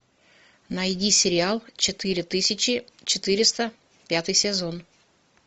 найди сериал четыре тысячи четыреста пятый сезон